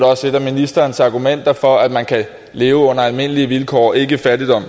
også et af ministerens argumenter for at man kan leve under almindelige vilkår ikke fattigdom